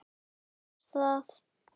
Þú veist það!